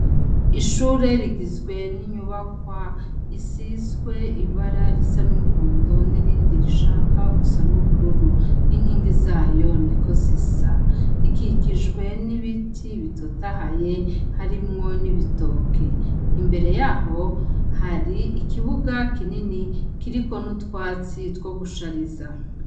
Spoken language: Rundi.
Ishure rigizwe n’inyubakwa isizwe ibara risa n’umuhondo nirindi rishaka gusa n’ubururu n’inkingi zayo niko zisa, rikikijwe n’ibiti bitotahaye harimwo n’ibitoke imbere yaho hari ikibuga kinini kiriko n’utwatsi two guhariza.